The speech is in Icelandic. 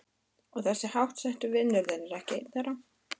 Og þessi háttsetti vinur þinn er ekki einn þeirra?